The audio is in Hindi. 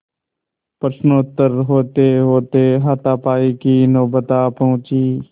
प्रश्नोत्तर होतेहोते हाथापाई की नौबत आ पहुँची